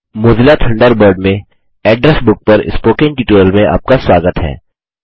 Mozilla Thunderbird में address book पर spoken tutorial में आपका स्वागत है